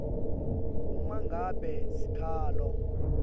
uma ngabe sikhalo